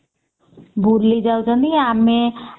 ଭୁଲି ଯାଉଛନ୍ତି ଆମେ